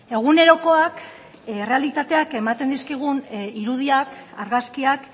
egunerokoak errealitateak ematen dizkigun irudiak argazkiak